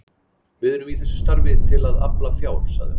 Við erum í þessu starfi til að afla fjár sagði hann.